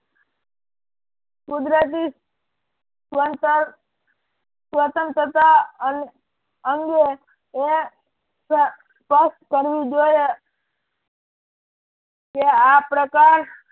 કુદરતી સ્વનતર સ્વતંત્રતા અંગે એ સ્પષ્ટ કરવું જોઈએ કે આ પ્રકાર